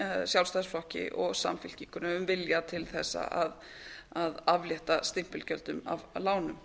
sjálfstæðisflokki um samfylkingunni um vilja til þess að aflétta stimpilgjöldum af lánum